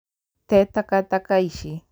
Te takataka ici